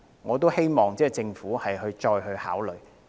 我希望政府會就此作出考慮。